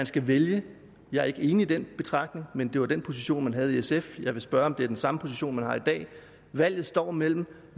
skal vælges jeg er ikke enig i den betragtning men det var den position man havde i sf jeg vil spørge om det er den samme position man har i dag valget står mellem